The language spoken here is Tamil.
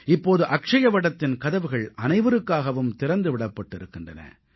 இப்போது அக்ஷயவடத்தின் கதவுகள் அனைவருக்காகவும் திறந்து விடப்பட்டிருக்கின்றன